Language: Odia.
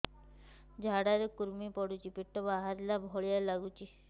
ଝାଡା ରେ କୁର୍ମି ପଡୁଛି ପେଟ ବାହାରିଲା ଭଳିଆ ଲାଗୁଚି